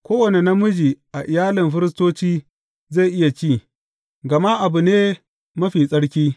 Kowane namiji a iyalin firistoci zai iya ci; gama abu ne mafi tsarki.